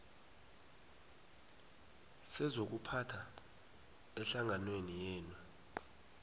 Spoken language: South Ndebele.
sezokuphatha ehlanganweni yenu